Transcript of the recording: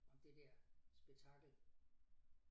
Om det der spektakel